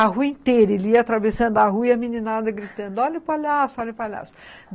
A rua inteira, ele ia atravessando a rua e a meninada gritando, olha o palhaço, olha o palhaço.